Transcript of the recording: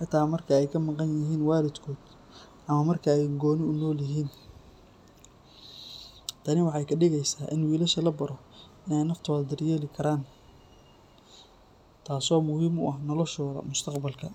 xitaa marka ay ka maqan yihiin waalidkood ama marka ay gooni u noolyihiin. Tani waxay ka dhigeysaa in wiilasha la baro inay naftooda daryeeli karaan, taasoo muhiim u ah noloshooda mustaqbalka.